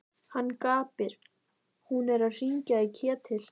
Hann gapir. hún er að hringja í Ketil!